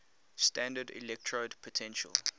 standard electrode potential